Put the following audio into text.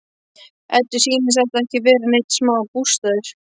Eddu sýnist þetta ekki vera neinn smá bústaður!